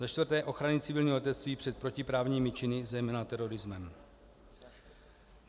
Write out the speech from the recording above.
Za čtvrté - ochrany civilního letectví před protiprávními činy, zejména terorismem.